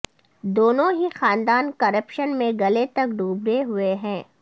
دونوں ہی خاندان کرپشن میں گلے تک ڈوبے ہوئے ہیں